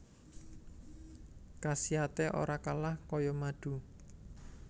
Khasiaté ora kalah kaya madu